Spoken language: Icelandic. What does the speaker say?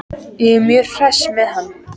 Ég er mjög hress með hann.